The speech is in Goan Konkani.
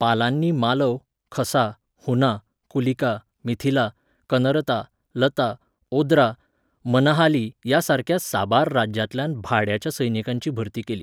पालांनी मालव, खसा, हुना, कुलिका, मिथिला, कनरता, लता, ओद्रा, मनहाली ह्या सारक्या साबार राज्यांतल्यान भाड्याच्या सैनिकांची भरती केली.